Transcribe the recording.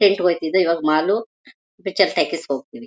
Tent ಹೋಯ್ತಿದ್ದೆ ಇವಾಗ mall picture talkies ಗೆ ಹೋಗ್ತೀವಿ.